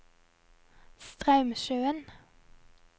Straumsjøen